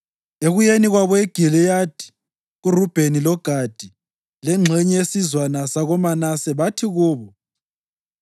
Ekuyeni kwabo eGiliyadi, kuRubheni loGadi lengxenye yesizwana sakoManase bathi kubo: